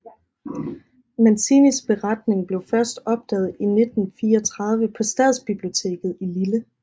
Mancinis beretning blev først opdaget i 1934 på stadsbiblioteket i Lille